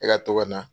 E ka to ka na